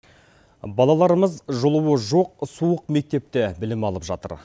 балаларымыз жылуы жоқ суық мектепте білім алып жатыр